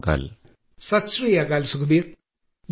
പ്രധാനമന്ത്രി സത്ശ്രീഅകാൽ സത്ശ്രീഅകാൽ ശ്രീസുഖ്ബീർ